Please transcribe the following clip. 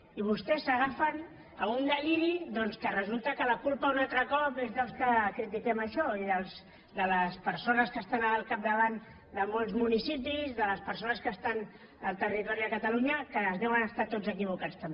i vostès s’agafen a un deliri doncs que resulta que la culpa un altre cop és dels que critiquem això i de les persones que estan al capdavant de molts municipis de les persones que estan al territori a catalunya que deuen estar tots equivocats també